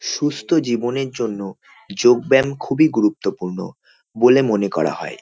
সুস্থ জীবনের জন্য যোগ ব্যাম খুবই গুরুত্বপূর্ণ বলে মনে করা হয়।